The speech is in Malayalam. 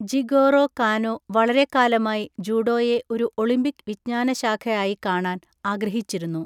ജിഗോറോ കാനോ വളരെക്കാലമായി ജൂഡോയെ ഒരു ഒളിമ്പിക് വിജ്ഞാനശാഖ ആയി കാണാൻ ആഗ്രഹിച്ചിരുന്നു.